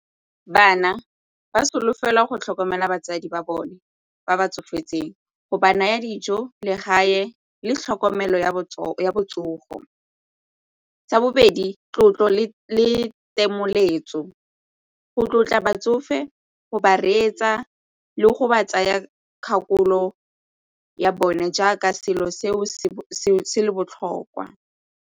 Bana ba solofela go tlhokomela batsadi ba bone ba ba tsofetseng go ba naya dijo, legae le tlhokomelo ya botsogo. Sa bobedi, tlotlo le go tlotla batsofe go ba reetsa le go ba tsaya kgakololo ya bone jaaka selo seo se le botlhokwa.